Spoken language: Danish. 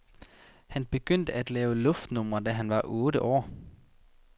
Han begyndte at lave luftnumre, da han var otte år.